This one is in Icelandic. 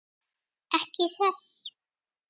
Ekki þess.